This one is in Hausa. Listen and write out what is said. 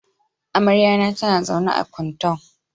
Amaryata tana zaune a Kuntau.